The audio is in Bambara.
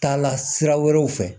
Taa la sira wɛrɛw fɛ